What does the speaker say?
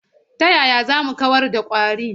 Ta yaya za mu kawar da ƙwari?